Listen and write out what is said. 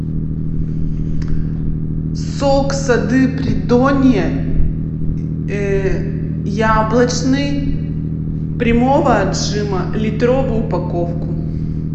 сок сады придонья яблочный прямого отжима литровую упаковку